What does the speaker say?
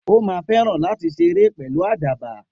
O má feran lati séré pelu àdàbà